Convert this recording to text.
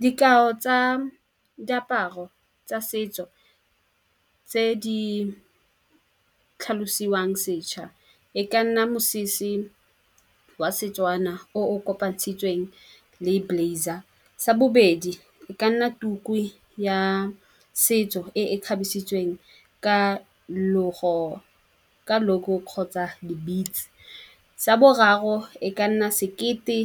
Dikao tsa diaparo tsa setso tse di tlhalosiwang sešwa e ka nna mosese wa Setswana o o kopantshitsweng le blaizer. Sa bobedi, e ka nna tuku ya setso e e kgabisitsweng ka ka logo kgotsa di-beads. Sa boraro, e ka nna sekete